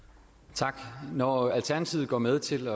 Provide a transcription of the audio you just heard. tak når alternativet går med til